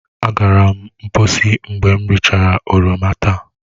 Agara m mkposi mgbe m rachara oroma taa.